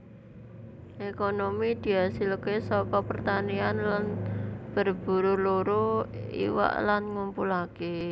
Ekonomi diasilke saka pertanian lan berburu luru iwak lan ngumpulake